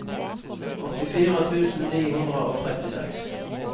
åttifire tusen ni hundre og trettiseks